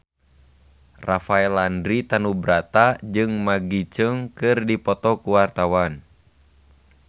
Rafael Landry Tanubrata jeung Maggie Cheung keur dipoto ku wartawan